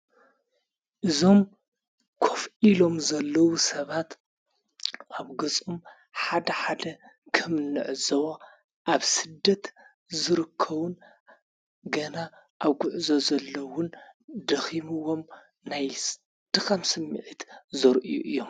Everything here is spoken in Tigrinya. እዞም ኰፍ ኢሎም ዘለዉ ሰባት ኣብ ገጹም ሓደ ሓደ ከምንዕ ዝወ ኣብ ስደት ዝርከዉን ገና ኣብ ጕዕ ዘ ዘለውን ድኺምዎም ናይ ድኻምስ ሚዕት ዘር እዩ እዮም።